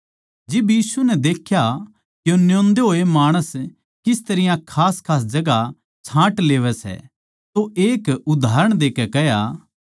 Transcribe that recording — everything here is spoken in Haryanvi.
जिब यीशु नै देख्या के न्योंदे होए माणस किस तरियां खासखास जगहां छाँट लेवैं सै तो एक उदाहरण देकै कह्या